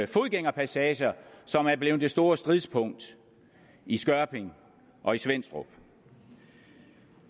fodgængerpassager som er blevet det store stridspunkt i skørping og i svenstrup